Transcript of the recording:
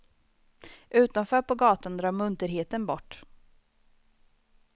Utanför på gatan drar munterheten bort.